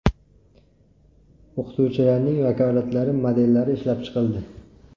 O‘qituvchilarning vakolatlari modellari ishlab chiqildi.